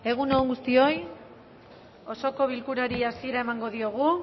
egun on guztioi osoko bilkurari hasiera emango diogu